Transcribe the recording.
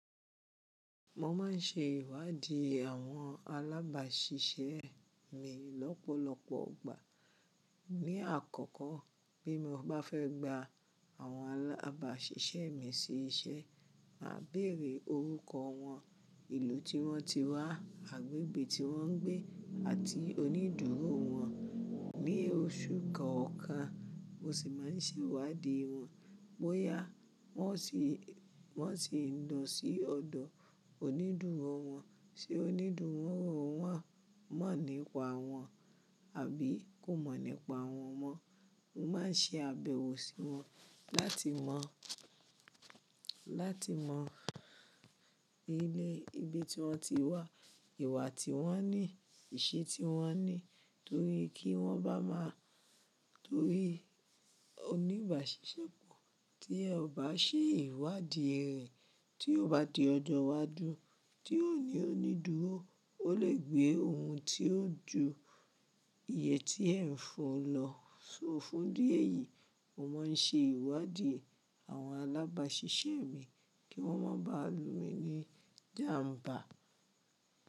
Mo ma n ṣe ìwádìí àwọn alábàáṣiṣẹ́ mi lọ́pọ̀lọpọ̀ igbà. Ni àkọ́kọ́, bí mo bá fẹ́ gba àwọn alábàṣiṣẹ́ mi sí iṣẹ́, màá bèèrè orúkọ wọn, ìlú tí wọ́n ti wá, agbègbè tí wọ́n ń gbé àti onídúró wọn. Ni oṣù kọ̀ọ̀kan, mo sì máa n ṣe ìwádìí wọn. Bóyá wọ́n o sì ń lọ sí ọ̀dọ̀ onídúró wọn, ṣe onídúró wọn mọ̀ nípa wọn àbí kò mọ̀ nípa wọn mọ. Mo máa n ṣe àbẹ̀wò sí wọn lati mo láti mọ ibi tí wọ́n ti wá, ìwà tí wọ́n ní, ìṣe tí wọ́n ní torí kí wọ́n bá má a torí oníbàṣiṣẹ́ pò tíì ọba ṣe ìwádìí rẹ tí ó bá di ọjọ́ iwájú tí ó ní onídúró, ó lè gbé ohun tí ó ju iye tí ẹ ń fún un lọ. So fún dí ẹ̀yìí, mo máa n ṣe ìwádìí àwọn alábàṣiṣẹ́ mi kí wọ́n má ba à lu mi ní ijàmbá.